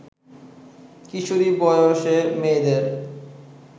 কিশোরী বয়সে মেয়েদের